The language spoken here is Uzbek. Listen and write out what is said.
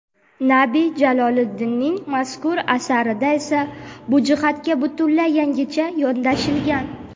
Nabi Jaloliddinning mazkur asarida esa bu jihatga butunlay yangicha yondashilgan.